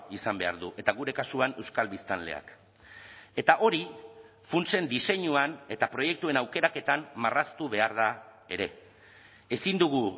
izan behar du eta gure kasuan euskal biztanleak eta hori funtsen diseinuan eta proiektuen aukeraketan marraztu behar da ere ezin dugu